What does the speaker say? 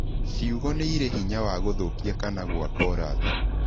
Ciugo nĩ irĩ hinya wa gũthũkia kana gwaka ũrata.